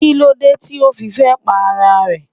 Kílódé tí ó fi fẹ́ pa ara rẹ̀?